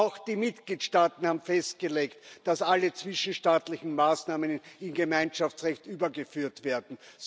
Auch die Mitgliedstaaten haben festgelegt, dass alle zwischenstaatlichen Maßnahmen in Gemeinschaftsrecht übergeführt werden.